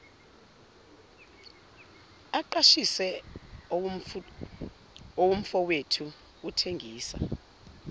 aqashise owomfowethu uthengisa